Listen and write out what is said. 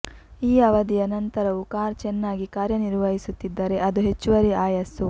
ಈ ಅವಧಿಯ ನಂತರವೂ ಕಾರ್ ಚೆನ್ನಾಗಿ ಕಾರ್ಯನಿರ್ವಹಿಸುತ್ತಿದ್ದರೆ ಅದು ಹೆಚ್ಚುವರಿ ಆಯಸ್ಸು